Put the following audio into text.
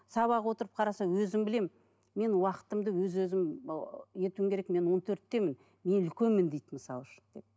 сабақ отырып қараса өзім білемін мен уақытымды өз өзім ыыы етуім керек мен он төрттемін мен үлкенмін дейді мысалы үшін